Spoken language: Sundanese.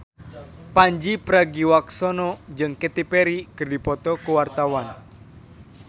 Pandji Pragiwaksono jeung Katy Perry keur dipoto ku wartawan